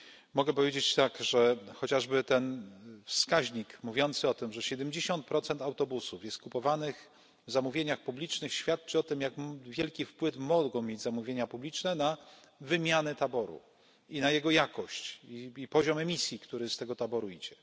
Mogę powiedzieć, że chociażby ten wskaźnik mówiący o tym, że siedemdziesiąt procent autobusów jest kupowanych w zamówieniach publicznych świadczy o tym, jak wielki wpływ mogą mieć zamówienia publiczne na wymianę taboru i na jego jakość, i na poziom emisji, który z tego taboru idzie.